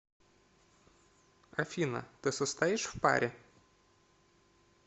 афина ты состоишь в паре